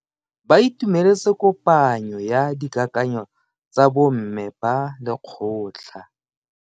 Ba itumeletse kopanyo ya dikakanyo tsa bo mme ba lekgotla.